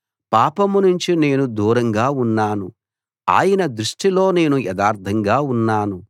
పాపం నుంచి నేను దూరంగా ఉన్నాను ఆయన దృష్టిలో నేను యథార్ధంగా ఉన్నాను